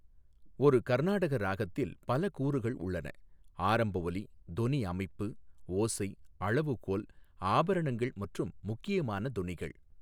ஒரு கர்நாடக ராகத்தில் பல கூறுகள் உள்ளன ஆரம்ப ஒலி, தொனி அமைப்பு, ஓசை, அளவுகோல், ஆபரணங்கள் மற்றும் முக்கியமான தொனிகள்.